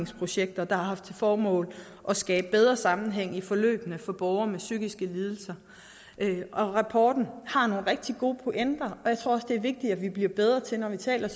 projekter der har haft til formål at skabe bedre sammenhæng i forløbene for borgere med psykiske lidelser rapporten har nogle rigtig gode pointer jeg tror det er vigtigt at vi bliver bedre til når vi taler